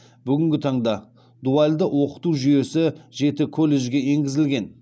бүгінгі таңда дуальды оқыту жүйесі жеті колледжге енгізілген